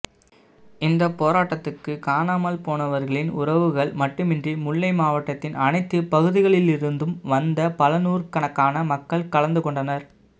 இந்த போராட்டத்துக்கு காணாமல் போனவர்களின் உறவுகள் மட்டுமின்றி முல்லை மாவட்டத்தின் அனைத்து பகுதிகளிலிருந்தும் வந்த பலநூர்ர்க்கனக்கான மக்கள் கலந்துகொண்டனர்